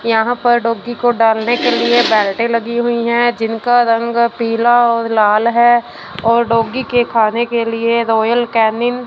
यहां पर डॉगी को डालने के लिए बाल्टी लगी हुई है जिनका रंग पीला और लाल है और डॉगी के खाने के लिए रॉयल केनिन --